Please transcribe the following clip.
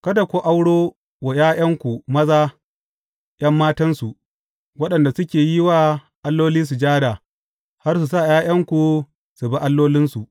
Kada ku auro wa ’ya’yanku maza ’yan matansu, waɗanda suke yi wa alloli sujada, har su sa ’ya’yanku su bi allolinsu.